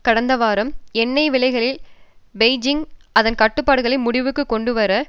கடந்த வாரம் எண்ணெய் விலைகளில் பெய்ஜிங் அதன் கட்டுப்பாடுகளை முடிவுக்கு கொண்டு வர